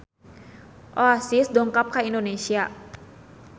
Oasis dongkap ka Indonesia